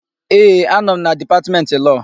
Ee, anọ m na Dipatmentị Lọọ.